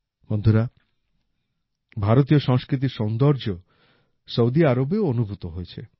বন্ধুরা ভারতীয় সংস্কৃতির সৌন্দর্য সৌদি আরবেও অনুভূত হয়েছে